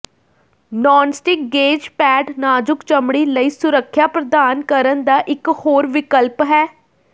nonstick gauze pad ਨਾਜੁਕ ਚਮੜੀ ਲਈ ਸੁਰੱਖਿਆ ਪ੍ਰਦਾਨ ਕਰਨ ਦਾ ਇੱਕ ਹੋਰ ਵਿਕਲਪ ਹੈ